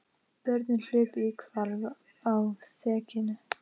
Börnin hlupu í hvarf á þekjunni.